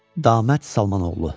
Damət Salmanoğlu.